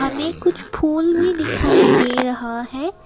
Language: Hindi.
हमें कुछ फूल भी दिखाई दे रहा है।